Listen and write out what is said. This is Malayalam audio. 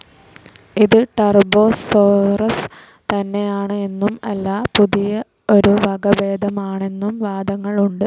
ഇത് ടർബോസോറസ് തന്നെ ആണ് എന്നും അല്ല പുതിയ ഒരു വകഭേദം ആണെന്നും വാദങ്ങൾ ഉണ്ട്.